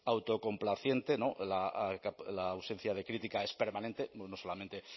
autocomplaciente la ausencia de crítica es permanente no solamente